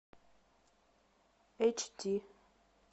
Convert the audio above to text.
эйч ди